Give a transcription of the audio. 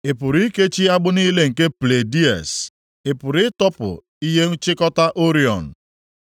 “Ị pụrụ ikechi agbụ niile nke Pleiades? Ị pụrụ ịtọpụ ihe nkechikọta Orion?